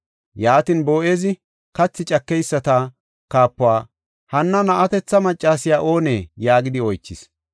Yaatin, Boo7ezi kathi cakeyisata kaapuwa, “Hanna na7atetha maccasiya oonee?” yaagidi oychis.